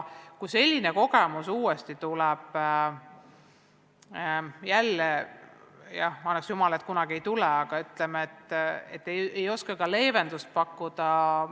Kui selline olukord peaks uuesti tekkima – annaks jumal, et enam kunagi ei teki –, siis ei oskagi alati leevendust pakkuda.